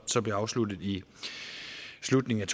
som blev afsluttet i slutningen